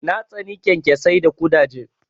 Na tsani kyankyasai da ƙudaje.